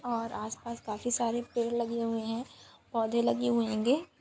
और आसपास काफी सारे पेड़ लगे हुए है। फॉधी लगे होएंगे--